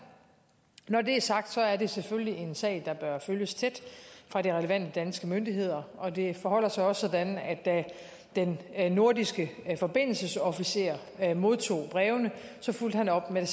når det er sagt er det selvfølgelig en sag der bør følges tæt fra de relevante danske myndigheder og det forholder sig også sådan at da den nordiske forbindelsesofficer modtog brevene fulgte han op med